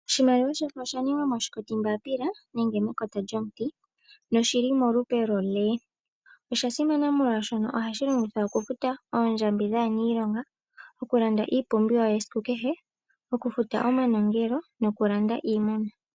Oshimaliwa shino osha ningwa moshikoti mbapila nenge mekota lyomuti noshili molupe lwo L osha simana molwaashono molwashono ohashi longithwa okufuta oondjambi dhaaniilonga okulanda iipumbiwa yesikukehe ,okufuta omanongelo nokulanda iimuna.